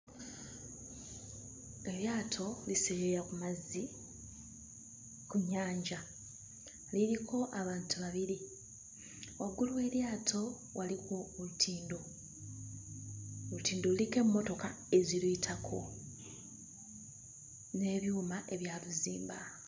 Eryato liseeyeeya ku mazzi ku nnyanja liriko abantu babiri. Waggulu w'eryato waliwo olutindo. Olutindo luliko emmotoka eziruyitako n'ebyuma ebyaluzimba.